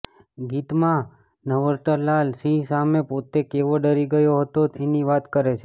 ગીતમાં નટવરલાલ સિંહ સામે પોતે કેવો ડરી ગયો હતો એની વાત કરે છે